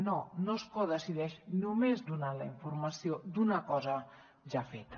no no es codecideix només donant la informació d’una cosa ja feta